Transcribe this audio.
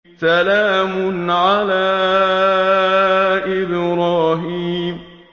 سَلَامٌ عَلَىٰ إِبْرَاهِيمَ